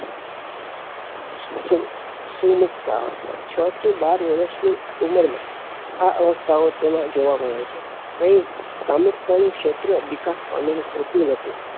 સુમુક્તાઅવસ્થા છ થી બાર વરસ ની ઉંમર માં આ અવસ્થા ઓ તેમાં જોવા મળે છે અહીં કામુકતા નું ક્ષેત્ર વિકાસ પામેલું હોતું નથી